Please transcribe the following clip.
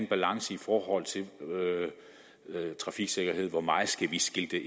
balance i forhold til trafiksikkerhed hvor meget skal vi skilte